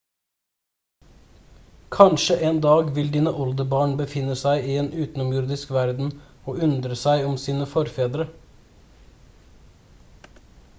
kanskje en dag vil dine oldebarn befinne seg i en utenomjordisk verden og undre seg om sine forfedre